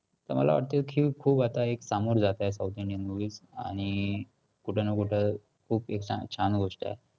तर मला वाटते की खूप आता एक सामोरे जात आहेत south indian movies आणि कुठं ना कुठं खूप हि छान गोष्ट आहे.